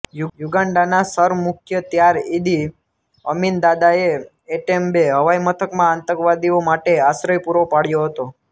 યૂગાન્ડાના સરમુખ્યત્યાર Idi Amin દાદાએ Entebbe હવાઇમથકમાં આતંકવાદીઓ માટે આશ્રય પૂરો પાડ્યો હતો